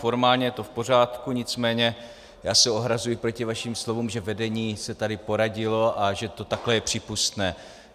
Formálně je to v pořádku, nicméně já se ohrazuji proti vašim slovům, že vedení se tady poradilo a že to takhle je přípustné.